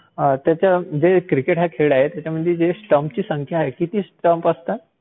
Cricket हा जो खेळ आहे, त्याच्यात जी स्टंप्सची संख्या आहे, किती स्टंप्स असतात?